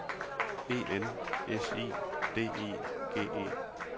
E N S I D I G E